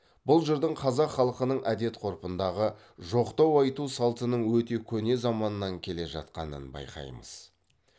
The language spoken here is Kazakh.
бұл жырдың қазақ халқының әдет ғұрпындағы жоқтау айту салтының өте көне заманнан келе жатқанын байқаймыз